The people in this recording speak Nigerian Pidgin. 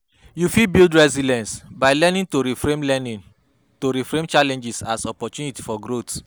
You fit build resilience by learning to reframe learning to reframe challenges as opportunities for growth.